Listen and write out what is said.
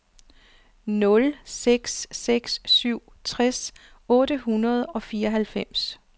nul seks seks syv tres otte hundrede og fireoghalvfems